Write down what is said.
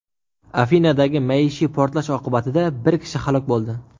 Afinadagi maishiy portlash oqibatida bir kishi halok bo‘ldi.